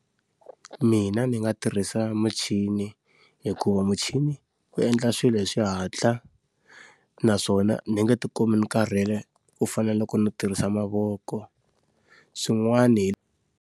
Mina ni nga tirhisa muchini hikuva muchini wu endla swilo hi xihatla, naswona ni nga ti kumi ni karhele ku fana na loko ni tirhisa mavoko. Swin'wani hi.